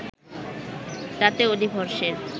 তাতে অধিবর্ষের